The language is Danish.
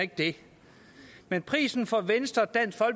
ikke det men prisen for venstre